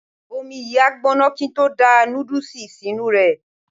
Omi yìí á gbóná kí n tó da nódùsì sínú rẹ̀